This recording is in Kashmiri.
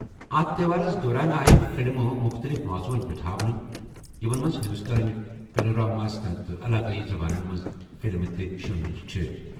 اَتھ تہوارَس دوران آیہِ فِلمہٕ مُختٔلِف موضوعَن پٮ۪ٹھ ہاونہٕ، یِمَن منٛز ہندوستٲنی پینورماہَس تحت علاقٲیی زبانَن منٛز فلمہٕ تہِ شٲمِل چھِ۔